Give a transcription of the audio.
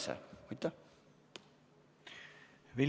Vilja Toomast, palun!